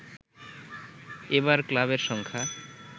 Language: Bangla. এবার ক্লাবের সংখ্যা